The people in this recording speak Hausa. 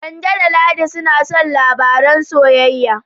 Kande da Ladi suna son labaran soyayya.